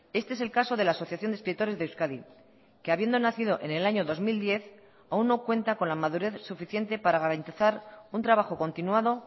este es el caso de la asociación de escritores de euskadi que habiendo nacido en el año dos mil diez aun no cuenta con la madurez suficiente para garantizar un trabajo continuado